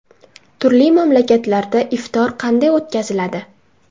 Turli mamlakatlarda iftor qanday o‘tkaziladi?